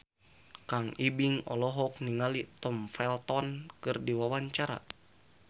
Kang Ibing olohok ningali Tom Felton keur diwawancara